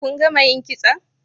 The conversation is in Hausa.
kun gama yin kitso?